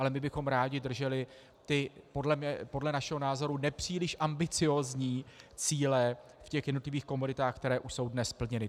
Ale my bychom rádi drželi ty podle našeho názoru nepříliš ambiciózní cíle v těch jednotlivých komoditách, které už jsou dnes splněny.